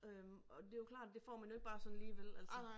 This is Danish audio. Øh og det jo klart det får man jo ikke bare sådan lige vel altså